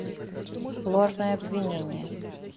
ложное обвинение